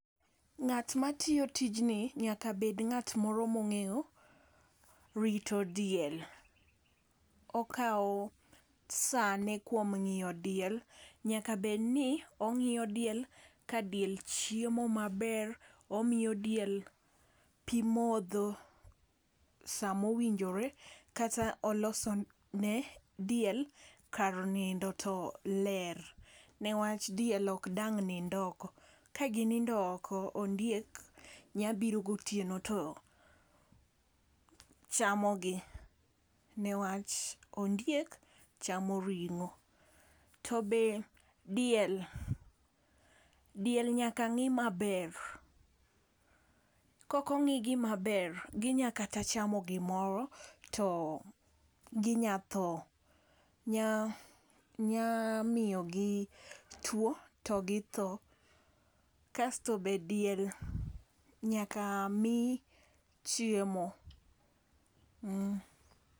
Ng'at matiyo tijni nyaka bed ng'at moro mong'eyo rito diel. Okawo sane kuom rito diel. Nyaka bed ni ongiyo diel ka diel chiemo maber , omiyo diel pii modho samo winjore kata oloso ne diel kar nindo to ler ne wach diel ok dang' nindo oko. Ka ginindo ok ondiek nya biro gotieno to chamo gi newach ondiek chamo ring'o. To be diel diel nyaka ng'i maber kokong'igi maber ginya kata chamo gimoro to ginya thoo nya nya miyo gi tuo to gi tho, kasto be diel nyaka mii chiemo.